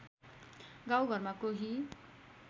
गाउँ घरमा कोही